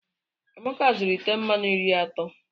Amaka zuru ite mmanụ iri atọ.